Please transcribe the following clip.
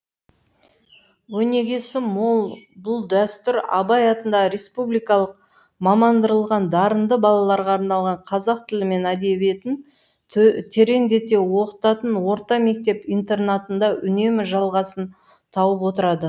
өнегесі мол бұл дәстүр абай атындағы республикалық мамандандырылған дарынды балаларға арналған қазақ тілі мен әдебиетін тереңдете оқытатын орта мектеп интернатында үнемі жалғасын тауып отырады